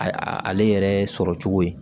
A ale yɛrɛ sɔrɔ cogo ye